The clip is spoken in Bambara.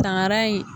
Tangara in